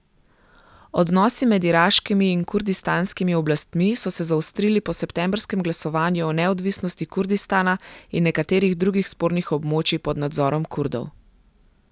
Odnosi med iraškimi in kurdistanskimi oblastmi so se zaostrili po septembrskem glasovanju o neodvisnosti Kurdistana in nekaterih drugih spornih območij pod nadzorom Kurdov.